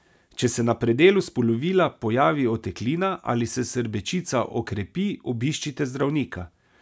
Če se na predelu spolovila pojavi oteklina ali se srbečica okrepi, obiščite zdravnika.